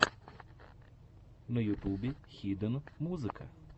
на ютубе хиден музыка